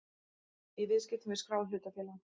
í viðskiptum við skráð hlutafélag.